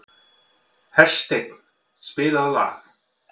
Hersteinn, spilaðu lag.